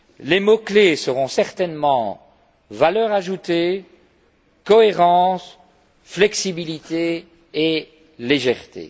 Les mots clés seront certainement valeur ajoutée, cohérence, flexibilité et légèreté.